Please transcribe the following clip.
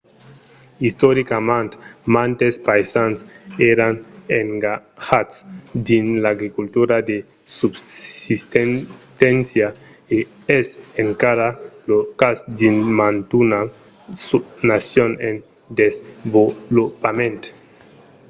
istoricament mantes païsans èran engatjats dins l'agricultura de subsisténcia e es encara lo cas dins mantuna nacion en desvolopament